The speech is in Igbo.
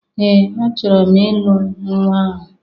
Ee! Achọrọ m ịlụ nnwa ahụ.